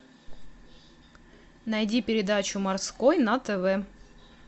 найди передачу морской на тв